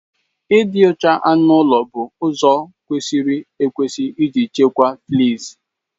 Ịdị ọcha anụ ụlọ bụ ụzọ kwesịrị ekwesị isi chịkwaa fleas